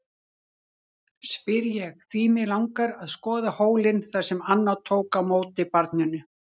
spyr ég, því mig langar að skoða hólinn þar sem Anna tók á móti barninu.